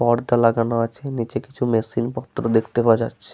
পর্দা লাগানো আছে নিচে কিছু মেশিন পত্র দেখতে পাওয়া যাচ্ছে।